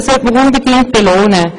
Dies sollte man unbedingt belohnen.